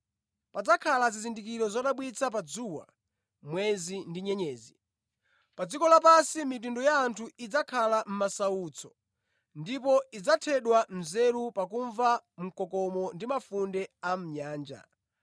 “Padzakhala zizindikiro zodabwitsa pa dzuwa, mwezi ndi nyenyezi. Pa dziko lapansi, mitundu ya anthu idzakhala mʼmasautso ndipo idzathedwa nzeru pakumva mkokomo ndi mafunde a mʼnyanja.